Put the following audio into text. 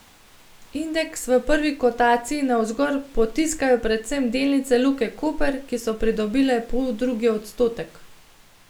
Indeks v prvi kotaciji navzgor potiskajo predvsem delnice Luke Koper, ki so pridobile poldrugi odstotek.